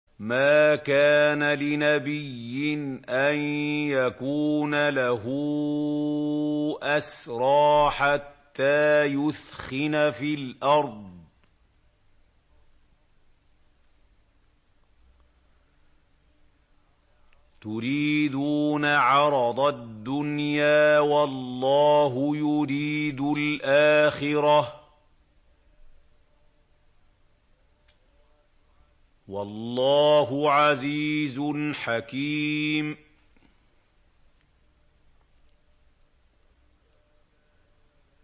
مَا كَانَ لِنَبِيٍّ أَن يَكُونَ لَهُ أَسْرَىٰ حَتَّىٰ يُثْخِنَ فِي الْأَرْضِ ۚ تُرِيدُونَ عَرَضَ الدُّنْيَا وَاللَّهُ يُرِيدُ الْآخِرَةَ ۗ وَاللَّهُ عَزِيزٌ حَكِيمٌ